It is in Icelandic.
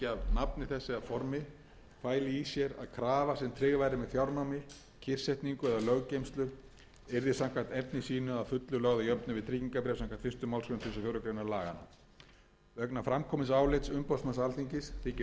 að krafa sem tryggð væri með fjárnámi kyrrsetningu eða löggeymslu yrði samkvæmt efni sínu að fullu lögð að jöfnu við tryggingarbréf samkvæmt fyrstu málsgrein tuttugustu og fjórðu grein laganna vegna framkomins álits umboðsmanns alþingis þykir rétt að taka af öll tvímæli um heimildir